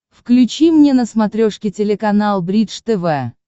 включи мне на смотрешке телеканал бридж тв